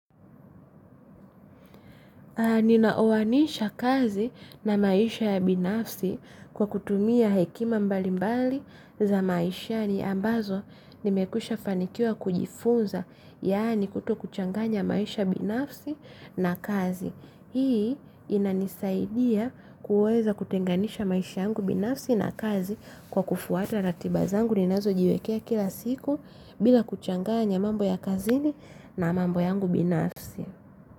Ninaoanisha kazi na maisha ya binafsi kwa kutumia hekima mbalimbali za maishani ambazo nimekwisha fanikiwa kujifunza yaani kutokuchanganya maisha binafsi na kazi. Hii inanisaidia kuweza kutenganisha maisha yangu binafsi na kazi kwa kufuata ratiba zangu ninazojiwekea kila siku. Bila kuchanganya mambo ya kazini na mambo yangu binafsi.